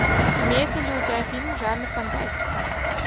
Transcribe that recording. имеется ли у тебя фильм жанр фантастика